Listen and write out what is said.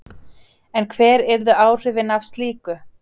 En hver yrðu áhrifin af slíku?